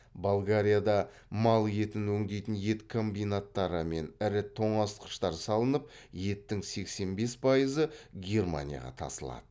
болгарияда мал етін өңдейтін ет комбинаттары мен ірі тоңазытқыштар салынып еттің сексен пайызы германияға тасылады